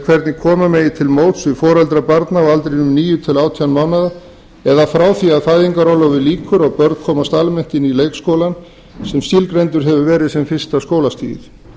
hvernig koma megi til móts við foreldra barna á aldrinum níu til átján mánaða eða frá því að fæðingarorlofi lýkur og börn komast almennt inn í leikskólann sem skilgreindur hefur verið sem fyrsta skólastigið